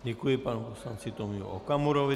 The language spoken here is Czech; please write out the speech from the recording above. Děkuji panu poslanci Tomiu Okamurovi.